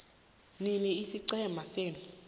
nini isiqhema senu